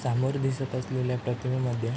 सामोर दिसत असलेल्या प्रतिमेमद्धे--